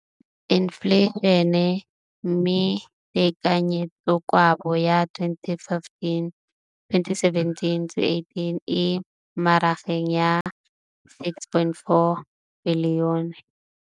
Infleišene, mme tekanyetsokabo ya 2017, 18, e magareng ga R6.4 bilione.